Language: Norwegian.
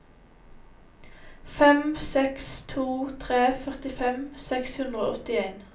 fem seks to tre førtifem seks hundre og åttien